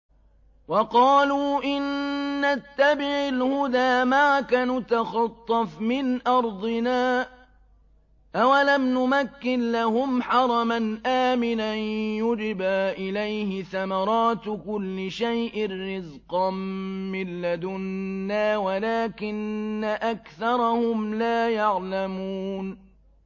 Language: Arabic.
وَقَالُوا إِن نَّتَّبِعِ الْهُدَىٰ مَعَكَ نُتَخَطَّفْ مِنْ أَرْضِنَا ۚ أَوَلَمْ نُمَكِّن لَّهُمْ حَرَمًا آمِنًا يُجْبَىٰ إِلَيْهِ ثَمَرَاتُ كُلِّ شَيْءٍ رِّزْقًا مِّن لَّدُنَّا وَلَٰكِنَّ أَكْثَرَهُمْ لَا يَعْلَمُونَ